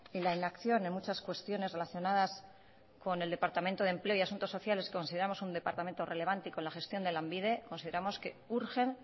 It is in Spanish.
y la inacción en muchas cuestiones relacionadas con el departamento de empleo y asuntos sociales un departamento relevante y con la gestión de lanbide consideramos que urgen